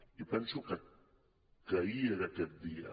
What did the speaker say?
i penso que ahir era aquest dia